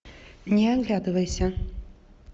не оглядывайся